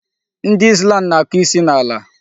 Ndị Islam na-akụ isi n'ala.